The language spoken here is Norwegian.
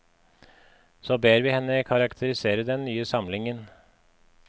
Så ber vi henne karakterisere den nye samlingen.